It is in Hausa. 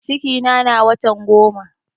Cikina na watan goma